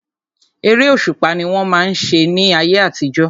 Eré òṣùpá ni wọ́n máa ń ṣe ní ayé àtijọ́.